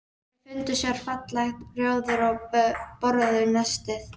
Þau fundu sér fallegt rjóður og borðuðu nestið.